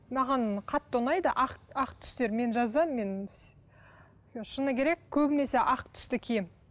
маған қатты ұнайды ақ ақ түстер мен жазда мен шыны керек көбінесе ақ түсті киемін